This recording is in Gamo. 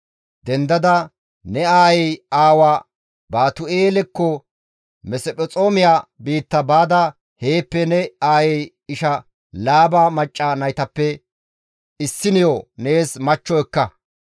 Dendada ne aayey aawa Baatu7eelekko, Mesphexoomiya biitta baada heeppe ne aayey isha Laaba macca naytappe issiniyo nees machcho ekka.